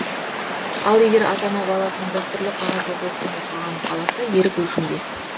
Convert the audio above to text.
ал егер ата ана баласының дәстүрлі қағаз оқулықпен оқығанын қаласа ерік өзінде